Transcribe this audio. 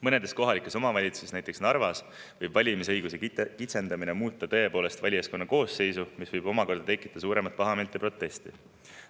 Mõnes kohalikus omavalitsuses, näiteks Narvas, võib valimisõiguse kitsendamine tõepoolest muuta valijaskonna koosseisu, mis võib omakorda tekitada suuremat pahameelt ja protesti.